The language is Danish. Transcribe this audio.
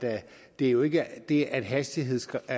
det jo ikke er det at hastighedsgrænsen